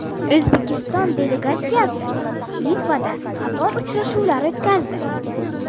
O‘zbekiston delegatsiyasi Litvada qator uchrashuvlar o‘tkazdi.